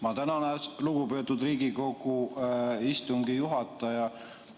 Ma tänan, lugupeetud Riigikogu istungi juhataja!